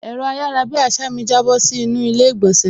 Ẹ̀rọ ayarabiasa mi jábọ́ sí inú ilé ìgbònsẹ̀